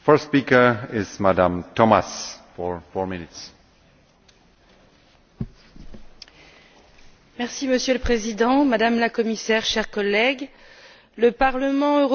Monsieur le Président, Madame la Commissaire, chers collègues, le Parlement européen exprimera demain sa position sur la proposition d'alignement du règlement de contrôle de la pêche sur le traité de Lisbonne.